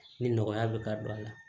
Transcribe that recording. Ni nɔgɔya bɛ ka don a la